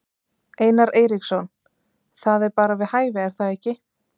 Einar Eiríksson: Það er bara við hæfi er það ekki?